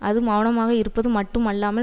அது மெளனமாக இருப்பது மட்டுமில்லாமல்